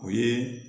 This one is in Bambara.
O ye